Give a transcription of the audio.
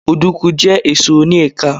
Òdùkú jẹ́ èso oni ẹ̀ka